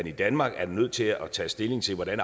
i danmark er nødt til at tage stilling til hvordan